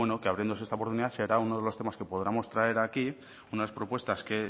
que abriéndose esta oportunidad será uno de los temas que podamos traer aquí unas propuestas que